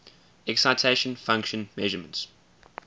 excitation function measurements